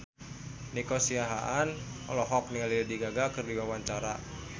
Nico Siahaan olohok ningali Lady Gaga keur diwawancara